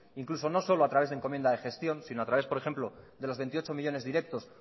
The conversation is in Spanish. incluso no solo a través de encomienda de gestión sino a través por ejemplo de los veintiocho millónes directos